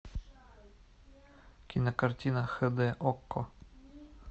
кинокартина хд окко